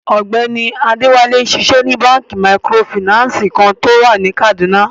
Ọgbẹni Adewale nṣíṣẹ ní bankí mìkrófínànsí kan ni Kaduna.